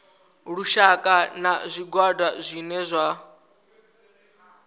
lushaka na zwigwada zwine zwa